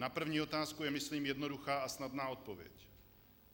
Na první otázku je myslím jednoduchá a snadná odpověď.